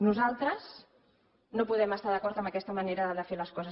nosaltres no podem estar d’acord amb aquesta manera de fer les coses